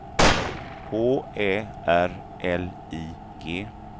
H Ä R L I G